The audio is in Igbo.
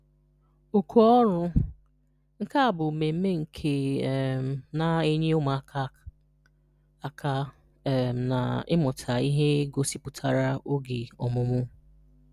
Oku Ọrụ: Nke a bu mmemme nke um na-enye ụmụaka aka um ná ịmụta ihe gosipụtara oge omumu.